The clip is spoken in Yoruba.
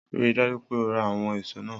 Rii daju pe o ra awọn eso naa!